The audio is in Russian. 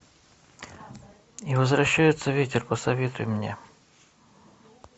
и возвращается ветер посоветуй мне